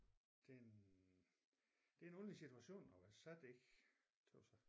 Det en det en underlig situation at være sat i tøs jeg